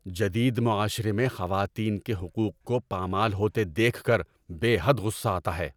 جدید معاشرے میں خواتین کے حقوق کو پامال ہوتے دیکھ کر بے حد غصہ آتا ہے۔